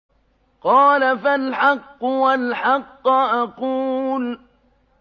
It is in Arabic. قَالَ فَالْحَقُّ وَالْحَقَّ أَقُولُ